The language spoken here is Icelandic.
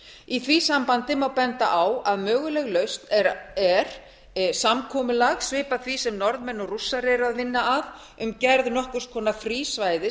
í því sambandi má benda á að möguleg lausn er samkomulag svipað því sem norðmenn og rússar eru að vinna að um gerð nokkurs konar frísvæðis